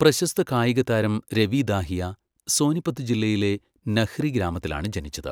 പ്രശസ്ത കായികതാരം, രവി ദാഹിയ, സോനിപത് ജില്ലയിലെ നഹ്രി ഗ്രാമത്തിലാണ് ജനിച്ചത്.